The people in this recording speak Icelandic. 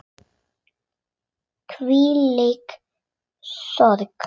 Hvílík sorg.